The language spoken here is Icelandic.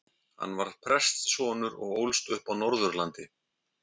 Hann var prestssonur og ólst upp á Norðurlandi.